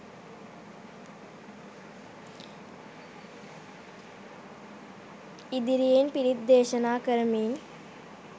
ඉදිරියෙන් පිරිත් දේශනා කරමින්